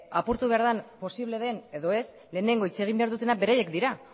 apurtu behar den posible den edo ez lehenengo hitz egin behar dutenak beraiek dira